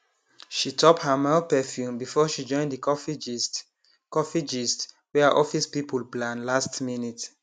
she top her mild perfume before she join the coffee gist coffee gist wey her office people plan last minute